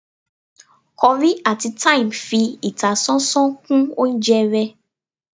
curry atí thyme fi ìtásánsán kún oúnjẹ ré